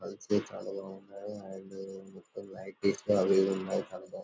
అది వచ్చి చాలా బాగున్నాయి అండ్ మొత్తం --]